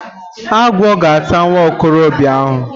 Agwọ ga ata nwa okorobịa ahụ.